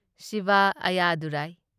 Shiv ꯑꯌꯥꯗꯨꯔꯥꯢ